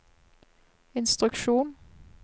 instruksjon